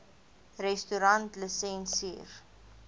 restaurantlisensier